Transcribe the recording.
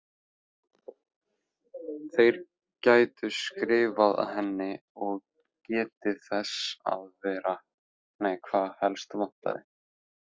Þeir gætu skrifað henni og getið þess hvað helst vantaði.